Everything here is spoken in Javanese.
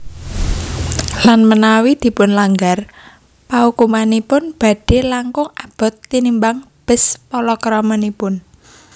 Lan menawi dipunlanggar paukumanipun badhe langkung abot tinimbang bes palakramanipun